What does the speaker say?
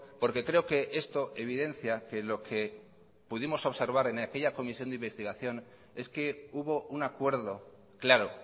porque creo que esto evidencia que lo que pudimos observar en aquella comisión de investigación es que hubo un acuerdo claro